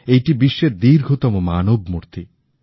এইটি বিশ্বের দীর্ঘতম মানবমূর্তি